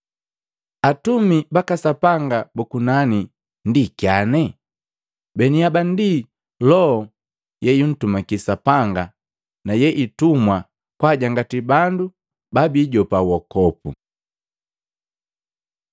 Atumi baka Sapanga buku nani ndi kyane? Baniaba ndi loho yeyuntumaki Sapanga na yeitumwa kwaajangati bandu babiijopa wokopu.